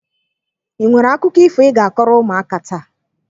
Ị nwere akụkọ ifo ị ga akọrọ ụmụaka taa?